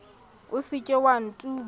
o se ke wa ntuba